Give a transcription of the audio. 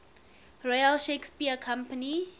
royal shakespeare company